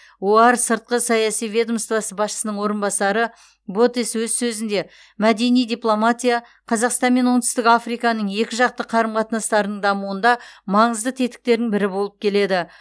оар сыртқы саяси ведомствосы басшысының орынбасары ботес өз сөзінде мәдени дипломатия қазақстан мен оңтүстік африканың екіжақты қарым қатынастарының дамуында маңызды тетіктерінің бірі болып келеді